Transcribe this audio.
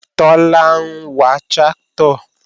Tọ́lá ń wa tráktọ̀